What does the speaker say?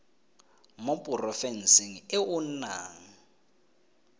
mo porofenseng e o nnang